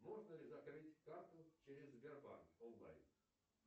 можно ли закрыть карту через сбербанк онлайн